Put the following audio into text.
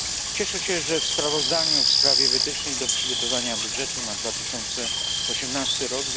Cieszę się, że w sprawozdaniu w sprawie wytycznych dotyczących przygotowania budżetu na 2018 r.